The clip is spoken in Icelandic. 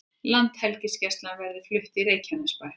Landhelgisgæslan verði flutt í Reykjanesbæ